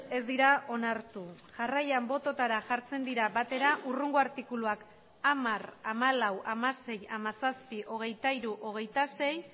ez dira onartu jarraian bototara jartzen dira batera hurrengo artikuluak hamar hamalau hamasei hamazazpi hogeita hiru hogeita sei